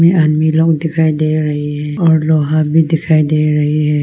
ये आदमी लोग दिखाई दे रहे हैं और लोहा भी दिखाई दे रही है।